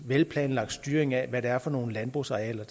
velplanlagt styring af hvad det er for nogle landbrugsarealer